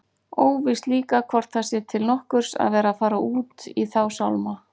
Óvíst líka hvort það sé til nokkurs að vera að fara út í þá sálma.